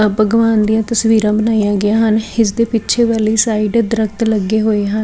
ਆ ਭਗਵਾਨ ਦੀਆਂ ਤਸਵੀਰਾਂ ਬਣਾਈਆਂ ਗਈਆਂ ਹਨ ਇਸ ਦੇ ਪਿੱਛੇ ਵਾਲੀ ਸਾਈਡ ਦਰਖ਼ਤ ਲੱਗੇ ਹੋਏ ਹਨ।